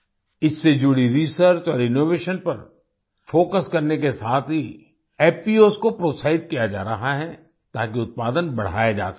इससे जुड़ी रिसर्च और इनोवेशन पर फोकस करने के साथ ही एफपीओएस को प्रोत्साहित किया जा रहा है ताकि उत्पादन बढ़ाया जा सके